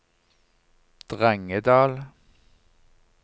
Drangedal